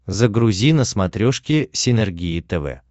загрузи на смотрешке синергия тв